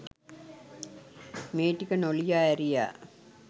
මේ ටික නොලියා ඇරියා